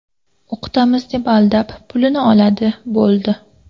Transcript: O‘qitamiz deb aldab, pulini oladi, bo‘ldi.